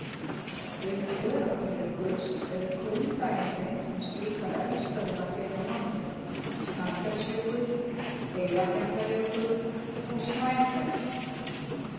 Auk Öræfajökuls eru kunn dæmi um slíkar eldstöðvar hér á landi Snæfellsjökull, Eyjafjallajökull og Snæfell.